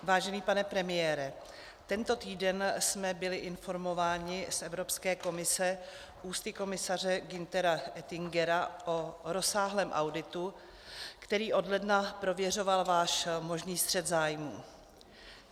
Vážený pane premiére, tento týden jsme byli informováni z Evropské komise ústy komisaře Günthera Oettingera o rozsáhlém auditu, který od ledna prověřoval váš možný střet zájmů.